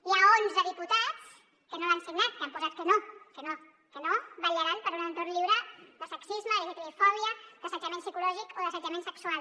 hi ha onze diputats que no l’han signat que han posat que no vetllaran per un entorn lliure de sexisme d’lgtbi fòbia d’assetjament psicològic o d’assetjament sexual